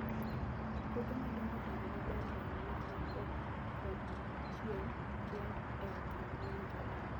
Puothe madongo dongo maber e alwora ma koth kod chieng' rieny e okang' mowinjore.